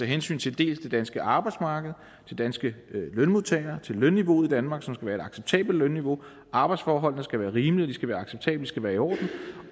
hensyn til det danske arbejdsmarked danske lønmodtagere lønniveauet i danmark som skal være et acceptabelt niveau arbejdsforholdene som skal være rimelige de skal være acceptable de skal være i orden